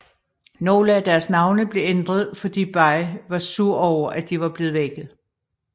Nogle af deres navne blev ændret fordi Bay var sur over at de var blevet lækket